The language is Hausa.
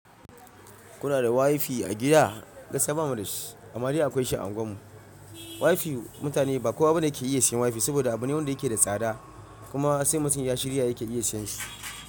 Kuna da WiFi a gida? Gaskiya ba mu da shi. Amma dai akwai shi a unguwarmu. WiFi mutane ba kowa bane yake iya siyan WiFi, saboda abu ne wanda yake da tsada. Kuma sai mutum ya shirya yake iya siyan shi.